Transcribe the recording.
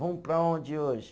Vamos para onde hoje?